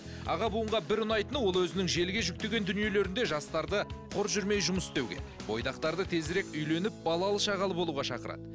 аға буынға бір ұнайтыны ол өзінің желіге жүктеген дүниелерінде жастарды құр жүрмей жұмыс істеуге бойдақтарды тезірек үйленіп балалы шағалы болуға шақырады